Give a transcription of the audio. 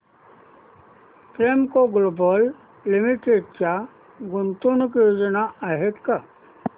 Premco global limited च्या गुंतवणूक योजना आहेत का